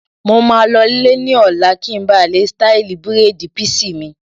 mo maa lọ lè ní ọ̀la kí n ba lè ṣtáìlì bírèèdì písì mi